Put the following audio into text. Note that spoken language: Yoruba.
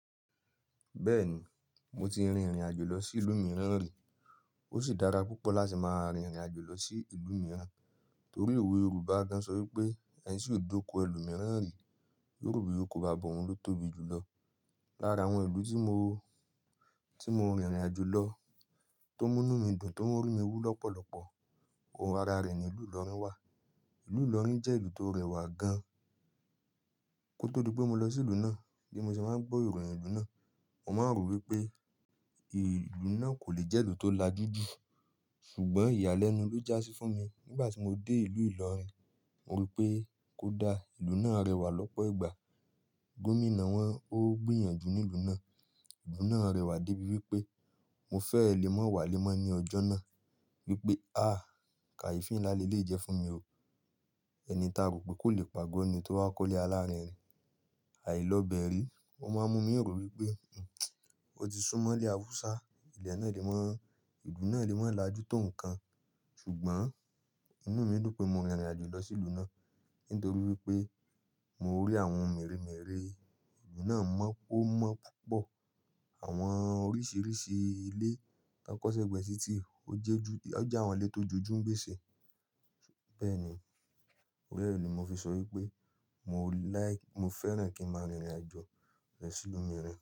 Bẹ́ẹ̀ni, mo ti rìnrìn àjò lọ sí ìlú mìíràn rí. Ó sì dára púpọ̀ láti máa rìnrìn àjò lọ sí ìlú mìíràn. Torí òwe Yorùbá gan-an sọ wí pé “Ẹni tí ò dóko ẹlòmíràn rí, yóò rò pé oko baba òun ló tóbi jù lọ”. Lára àwọn ìlú tí mo, tí mo rìnrìn-àjò lọ, tó mú inú mi dùn, tó mú orí mi wú lọ́pọ̀lọpọ̀, ara rẹ̀ ni ìlú Ìlọrin wà. Ìlú Ìlọrin jẹ́ ìlú tó rẹwà gan. Kótó dí pé mo lọ sí ìlú náà bí mo ṣe máa ń gbọ́ ìròyìn ìlú náà, mo máa ń rò wípé ìlú náà kò lè jẹ́ ìlú tó lajú jù. Ṣùgbọ́n ìyàlẹ́nu ló já sí fún mi nígbà tí mo dé ìlú Ìlọrin. Mo wípé kó da, ìlú náà rẹwà lọ́pọ̀ ìgbà. Gómìnà wọn ó gbìyànjú ní ìlú náà. Ìlú náà rẹwà débi wípé mo fẹ́ èlé mọ́ wá lé mọ́ ní ọjọ́ náà. Wípé, à kàyéfì ńlá ni eléyìí jẹ́ fún mi o. Ẹni tá rò pé kò le pàgọ́ ni tó wá kọ́lé alárinrin. Àìlọ́ bẹri, o máa ń mú mí rò wípé, o ti súmọ́lé Hausa, ilẹ̀ náà lè mọ́, ìlú náà lè mọ́ lájú tó nǹkan. Ṣùgbọ́n inú mi dùn pé mo rìnrìn àjò lọ sí ìlú náà. Nítorí wípé mo rí àwọn mèremère ìlú náà mọ́, o mọ́ púpọ̀. Àwọn oríṣìíríṣìí ilé tó kọ́ si ẹgbẹ títí ó jẹ́ àwọn, ó jẹ́ àwọn ilé tó jẹ́ ju gbèsè. Bẹ́ẹ̀ni, torí re ni mo fi sọ wípé mo like, mo fẹ́ràn kí n máa rìnrìn àjò lọ sí ìlú mìíràn.